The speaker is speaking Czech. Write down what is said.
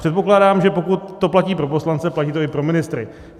Předpokládám, že pokud to platí pro poslance, platí to i pro ministry.